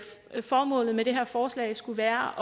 formålet med det her forslag skulle være